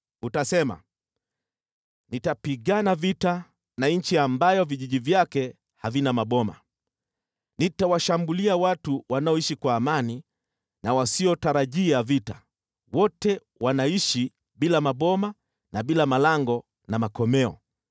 Utasema, “Nitapigana vita na nchi ambayo vijiji vyake havina maboma. Nitawashambulia watu wanaoishi kwa amani na wasiotarajia vita: wote wanaishi bila maboma na bila malango na makomeo.